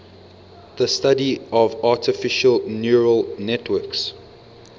the study of artificial neural networks